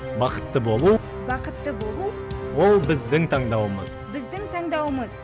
бақытты болу бақытты болу ол біздің таңдауымыз біздің таңдауымыз